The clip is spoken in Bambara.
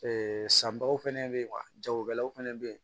sanbaw fɛnɛ bɛ yen wa jagokɛlaw fana bɛ yen